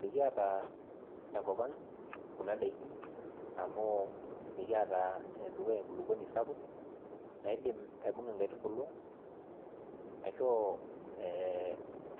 Mikiiata tenkopa anng Kuna daikin amu mikiata ene dukuya enkulupuoni sapuk, naidim aibung'a nkaitubulu, aishoo